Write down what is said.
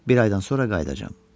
Bir aydan sonra qayıdacağam.